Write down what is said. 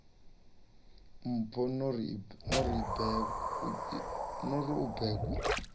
mpho no ri u bebwa